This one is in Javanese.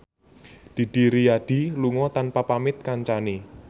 Didi Riyadi lunga tanpa pamit kancane